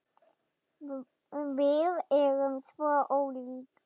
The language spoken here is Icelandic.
Við erum svo ólík.